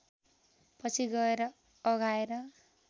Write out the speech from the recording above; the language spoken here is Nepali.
पछि गएर अघाएर